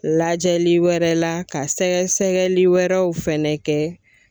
Lajɛli wɛrɛ la ka sɛgɛsɛgɛli wɛrɛw fɛnɛ kɛ